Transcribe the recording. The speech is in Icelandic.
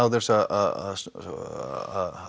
þess að